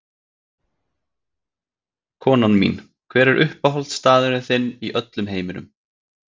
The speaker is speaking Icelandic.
Konan mín Hver er uppáhaldsstaðurinn þinn í öllum heiminum?